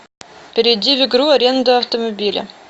перейди в игру аренда автомобиля